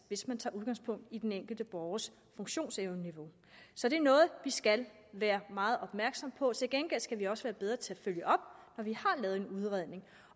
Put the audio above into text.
hvis man tager udgangspunkt i den enkelte borgers funktionsevneniveau så det er noget vi skal være meget opmærksomme på til gengæld skal vi også være bedre til at følge op når vi har lavet en udredning